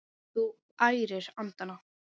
Þú ærir andana!